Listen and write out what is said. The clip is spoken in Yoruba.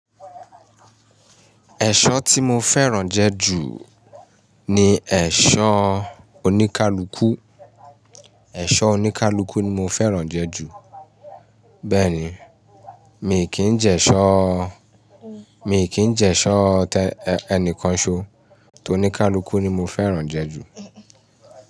Ẹ̀ṣọ́ tí mo fẹ́ràn jẹ ju ni ẹ̀ṣọ́ oníkálukú. Ẹ̀ṣọ́ oníkálúkú ni mo fẹ́ràn jẹ ju. Bẹ́ẹ̀ ni, mi kì í jẹ ṣọ, mi kì í jẹ ṣọ ẹni kan ṣo, tòní kaluku ni mo fẹ́ràn jẹ ju.